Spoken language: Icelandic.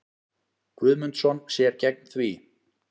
Guðmundsson sér gegn því.